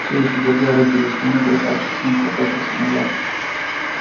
все ещё держа руки за спиной красавчик смит попятился назад